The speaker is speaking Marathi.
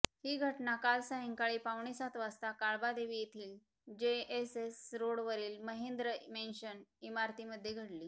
ही घटना काल सायंकाळी पावणेसात वाजता काळबादेवी येथील जेएसएस रोडवरील महेंद्र मेंशन इमारतीमध्ये घडली